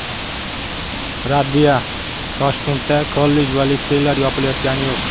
Raddiya: Toshkentda kollej va litseylar yopilayotgani yo‘q .